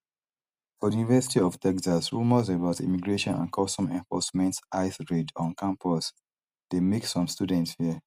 for di university of texas rumours about immigration and customs enforcement ice raids on campus dey make some students fear